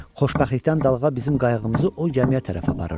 Xoşbəxtlikdən dalğa bizim qayığımızı o gəmiyə tərəf aparırdı.